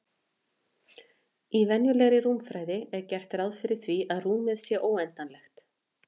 Í venjulegri rúmfræði er gert ráð fyrir því að rúmið sé óendanlegt.